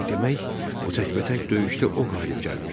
Demək, bu təkbətək döyüşdə o qalib gəlmişdi.